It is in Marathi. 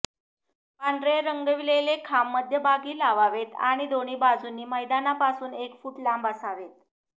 पांढरे रंगविलेले खांब मध्यभागी लावावेत आणि दोन्ही बाजूंनी मैदानापासून एक फूट लांब असावेत